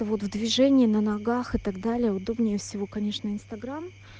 вот в движение на ногах и так далее удобнее всего конечно инстаграм